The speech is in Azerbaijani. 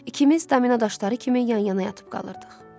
İkimiz domino daşları kimi yan-yana yatıb qaldıq.